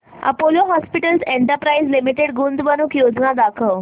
Apollo hospitals enterprise limited गुंतवणूक योजना दाखव